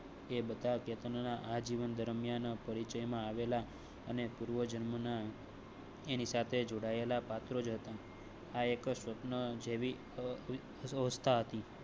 એ બધા જીવન ના આ જીવન દરમિયાન પરિચયમાં આવેલા અને પૂર્વજન્મ. એની સાથે જોડાયેલા પાત્રો. આ એક સપના જેવી હતી